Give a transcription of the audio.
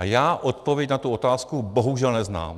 A já odpověď na tu otázku bohužel neznám.